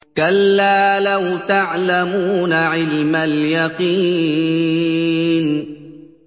كَلَّا لَوْ تَعْلَمُونَ عِلْمَ الْيَقِينِ